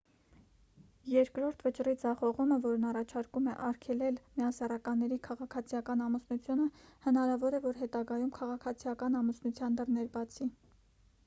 երկրորդ վճռի ձախողումը որն առաջարկում է արգելել միասեռականների քաղաքացիական ամուսնությունը հնարավոր է որ հետագայում քաղաքացիական ամուսնության դռներ բացի